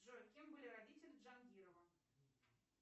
джой кем были родители джангирова